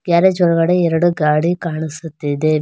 Garage ಒಳಗಡೆ ಎರಡು ಗಾಡಿ ಕಾಣಿಸುತ್ತಿದೆ.